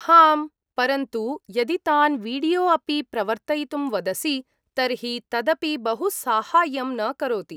हां, परन्तु यदि तान् वीडियो अपि प्रवर्तयितुं वदसि, तर्हि तदपि बहु साहाय्यं न करोति।